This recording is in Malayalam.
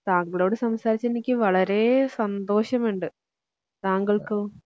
താങ്കളോട് സംസാരിച്ചതിൽ എനിക്ക് വളരെ സന്തോഷമുണ്ട് താങ്കൾക്കോ?